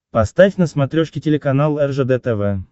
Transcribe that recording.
поставь на смотрешке телеканал ржд тв